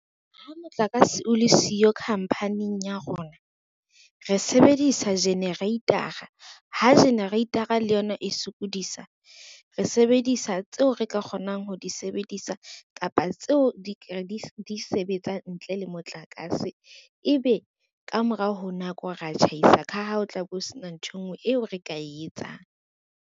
Ha motlakase o le siyo khampaning ya rona, re sebedisa generator-a, ha generator-a le yona e sokodisa, re sebedisa tseo re ka kgonang ho di sebedisa kapa tseo di sebetsang ntle le motlakase. Ebe ka morao ho nako re tjhaisa ka ha ho tla bo sena ntho e ngwe eo re ka e etsang.